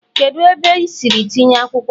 kedu ebe i siri tinye akwukwo a?